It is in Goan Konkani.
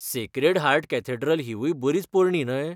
सेक्रेड हार्ट कॅथॅड्रल हिवूय बरीच पोरणी न्हय?